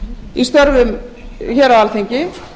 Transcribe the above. í störfum hér á alþingi